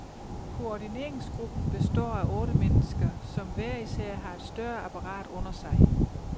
Koordineringsgruppen består af otte mennesker, som hver især har et større apparat under sig.